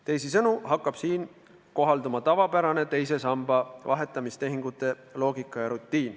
Teisisõnu hakkab siin kohalduma tavapärane teise samba vahetamistehingute loogika.